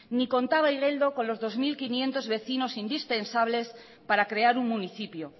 ni contaba igeldo con los dos mil quinientos vecinos indispensables para crear un municipio